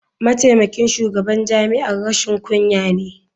Mataimakin shugaban jami'ar rashin kunya ne.